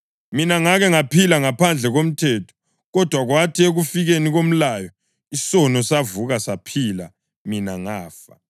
Mina ngake ngaphila ngaphandle komthetho; kodwa kwathi ekufikeni komlayo, isono savuka saphila, mina ngafa.